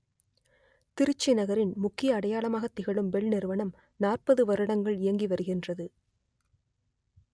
திருச்சி நகரின் முக்கிய அடையாளமாக திகழும் பெல் நிறுவனம் நாற்பது வருடங்கள் இயங்கி வருகின்றது